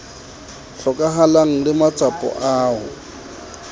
hlokahalang le matsapa a ho